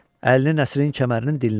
Əlini Nəsirin kəmərinin dilinə vurdu.